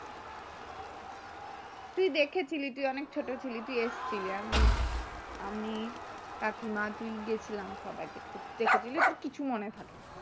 তুই দেখেছিলি তুই অনেক ছোট ছিলি তুই এসেছিলি আমি আমি কাকিমা তুই গেছিলাম সবাই দেখতে দেখেছিলস তোর কিছু মনে থাকেনা